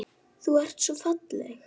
Þú ert svo falleg.